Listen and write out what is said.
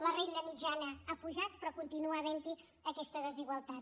la renda mitjana ha pujat però continua havent hi aquesta desigualtat